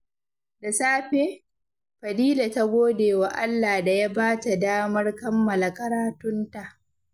Da safe, Fadila ta gode wa Allah da ya ba ta damar kammala karatunta.